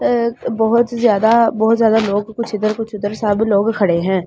अ बहुत ज्यादा बहुत ज्यादा लोग कुछ इधर कुछ उधर सब लोग खड़े हैं।